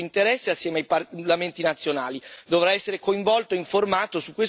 Il Parlamento seguirà questa fase cruciale con molto interesse assieme ai parlamenti nazionali.